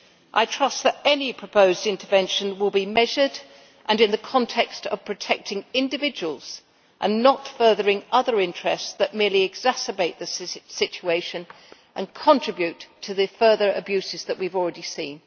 I trust that any proposed intervention will be measured and in the context of protecting individuals, and not furthering other interests that merely exacerbate the situation and contribute to the further abuses that we have already seen.